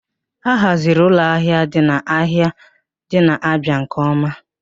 A haziri ụlọ ahịa ndị ahụ dị n'Aba nke ọma